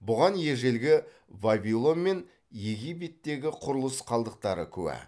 бұған ежелгі вавилон мен египеттегі құрылыс қалдықтары куә